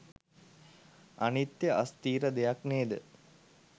අනිත්‍ය අස්ථිර දෙයක් නේද?